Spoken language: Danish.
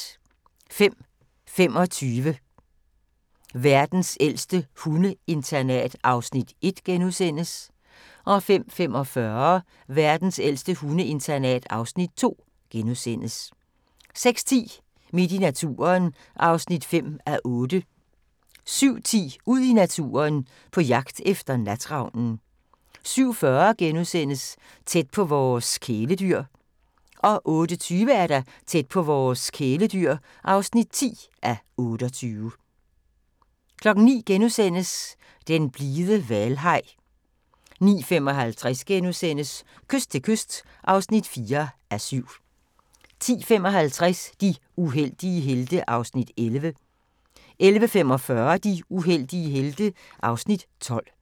05:25: Verdens ældste hundeinternat (Afs. 1)* 05:45: Verdens ældste hundeinternat (Afs. 2)* 06:10: Midt i naturen (5:8) 07:10: Ud i naturen: På jagt efter natravnen 07:40: Tæt på vores kæledyr (9:28)* 08:20: Tæt på vores kæledyr (10:28) 09:00: Den blide hvalhaj * 09:55: Kyst til kyst (4:7)* 10:55: De uheldige helte (Afs. 11) 11:45: De uheldige helte (Afs. 12)